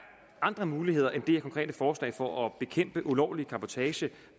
andre muligheder end det her konkrete forslag for at bekæmpe ulovlig cabotage